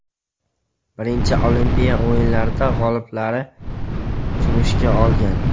Birinchi Olimpiya o‘yinlarida g‘oliblari kumushga olgan.